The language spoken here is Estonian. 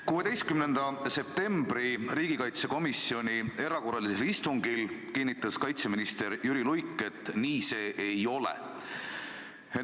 16. septembril peetud riigikaitsekomisjoni erakorralisel istungil kinnitas kaitseminister Jüri Luik, et nii see ei ole.